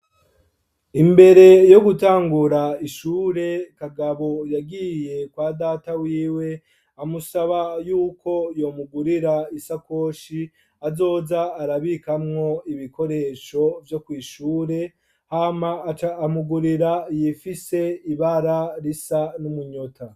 Imbere yo gutangura ishure, Kagabo yagiye kwa data wiwe amusaba yuko yomugurira isakoshi azoja arabikamwo ibikoresho vyo kw'ishure, hama amugurira iyifise ibara risa n'umunyota.